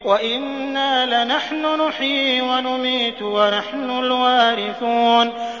وَإِنَّا لَنَحْنُ نُحْيِي وَنُمِيتُ وَنَحْنُ الْوَارِثُونَ